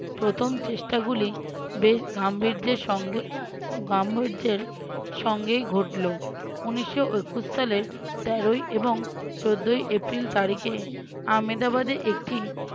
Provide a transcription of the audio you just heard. প্রথম চেষ্টাগুলি বেশ গাম্ভীর্যের সঙ্গে উম গাম্ভীর্যের সঙ্গেই ঘটলো উনিশশো একুশ সালের তেরোই এবং চোদ্দই এপ্রিল তারিখে আহমেদাবাদে একটি